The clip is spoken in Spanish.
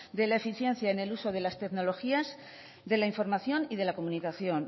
de la eficiencia en el uso de las tecnologías de la información y de la comunicación